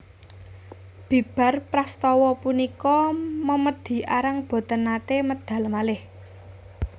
Bibar prastawa punika memedi Arang boten naté medal malih